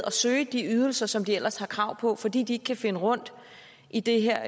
at søge de ydelser som de ellers har krav på fordi de ikke kan finde rundt i det her